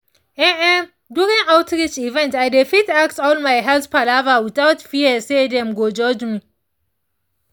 ehn[um]during outreach event i dey fit ask all my health palava without fear say dem go judge me